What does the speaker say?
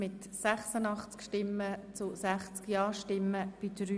Wir kommen zur Abstimmung über Ziffer 2.